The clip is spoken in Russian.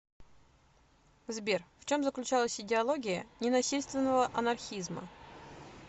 сбер в чем заключалась идеология ненасильственного анархизма